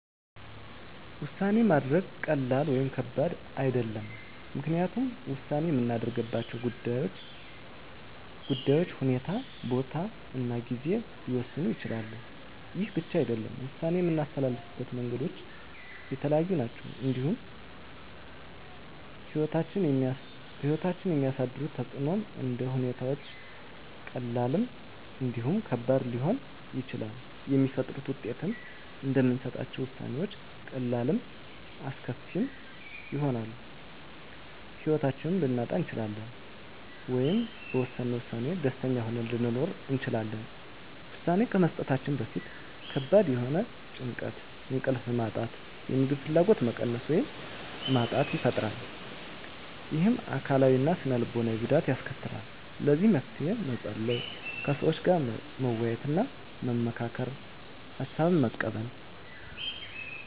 ውሳኔ ማድረግ ቀላል ወይም ከባድ አይደለም ምክንያቱም ውሳኔ የምናደርግባቸው ጉዳዮች ሁኔታ ቦታ እና ጊዜ ሊወሰኑት ይችላሉ ይህ ብቻ አይደለም ውሳኔ የምናስተላልፍበት መንገዶች የተለያዩ ናቸው እንዲሁም በህይወታችን የሚያሳድሩት ተፅእኖም እንደ ሁኔታዎች ቀላልም እንዲሁም ከባድ ሊሆኑ ይችላሉ የሚፈጥሩት ውጤቶችም እንደምንሰጣቸው ውሳኔዎች ቀላልም አስከፊም ይሆናል የህይወታችንን ልናጣ እንችላለን ወይም በወሰነው ውሳኔ ደስተኛ ሆነን ልንኖር እንችላለን ውሳኔ ከመስጠታችን በፊት ከባድ የሆነ ጭንቀት እንቅልፍ ማጣት የምግብ ፍላጎት መቀነስ ወይም ማጣት ይፈጥራል ይህም አካላዊ እና ስነ ልቦናዊ ጉዳት ያስከትላል ለዚህ መፍትሄ መፀለይ ከሰዎች ጋር መወያየትና መመካከር ሀሳብን መቀበል